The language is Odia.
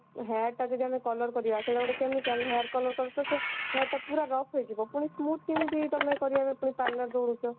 hair ଟାକୁ ଯଦିଆମେ color କରିବା ସେଟା ଗୋଟେ chemical hair color କଲେ ତ ସେ hair ଟା ପୁରା rough ହେଇଯିବ ପୁଣି smooth କେମତି ତମେକରିବା ପାଇଁ parlor ଯାଉଛ